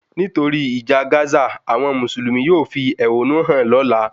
Nítorí ìjà Gazq, àwọn Mùsùlùmí yóò fi ehonu hàn lóla